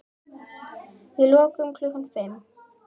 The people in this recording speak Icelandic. Við lokum klukkan fimm.